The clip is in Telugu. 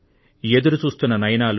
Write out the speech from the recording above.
ఎదురు చూస్తున్న నయనాలు